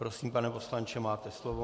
Prosím, pane poslanče, máte slovo.